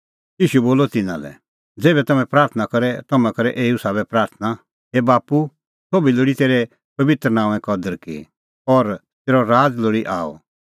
ईशू बोलअ तिन्नां लै ज़ेभै तम्हैं प्राथणां करे तम्हैं करै एऊ साबै प्राथणां हे बाप्पू सोभी लोल़ी तेरै पबित्र नांओंए कदर की और तेरअ राज़ लोल़ी आअ